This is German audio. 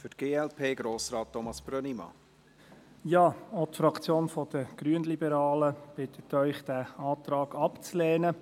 Auch die Fraktion der Grünliberalen bittet Sie, den Antrag abzulehnen.